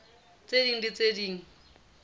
tse ding le tse ding